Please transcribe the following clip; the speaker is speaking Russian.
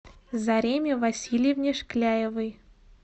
зареме васильевне шкляевой